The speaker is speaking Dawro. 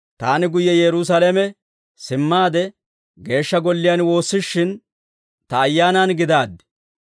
«Taani guyye Yerusaalame simmaade Geeshsha Golliyaan woossishin, ta ayaanaan gidaaddi.